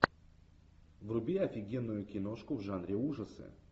вруби офигенную киношку в жанре ужасы